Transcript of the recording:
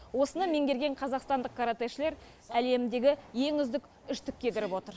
осыны меңгерген қазақстандық каратэшілер әлемдегі ең үздік үштікке кіріп отыр